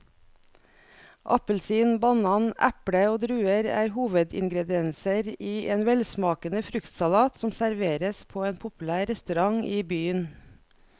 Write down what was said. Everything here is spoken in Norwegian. Appelsin, banan, eple og druer er hovedingredienser i en velsmakende fruktsalat som serveres på en populær restaurant i byen.